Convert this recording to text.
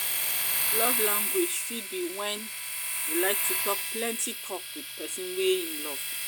love language fit be when like to talk plenty talk with persin wey im love